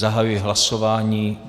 Zahajuji hlasování.